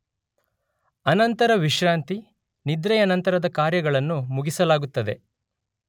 ಅನಂತರ ವಿಶ್ರಾಂತಿ, ನಿದ್ರೆಯ ನಂತರದ ಕಾರ್ಯಗಳನ್ನು ಮುಗಿಸಲಾಗುತ್ತದೆ